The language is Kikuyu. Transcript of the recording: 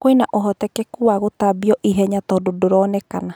Kwĩna ũhotekanu wagũtambio ihenya tũndũ ndũronekana